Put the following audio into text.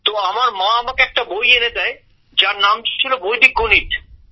তো আমার মা আমাকে একটা বই এনে দেয় যার নাম ছিল বৈদিক গণিত